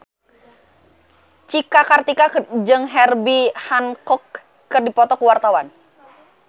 Cika Kartika jeung Herbie Hancock keur dipoto ku wartawan